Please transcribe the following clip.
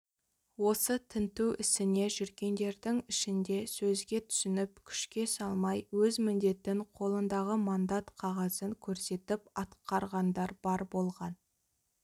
осы тінту ісіне жүргендердің ішінде сөзге түсініп күшке салмай өз міндетін қолындағы мандат қағазын көрсетіп атқарғандар бар болған